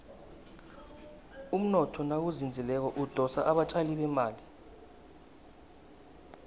umnotho nawuzinzileko udosa abatjali bemali